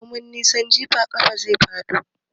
Komin nisan jifa ai ƙasa zai faɗo.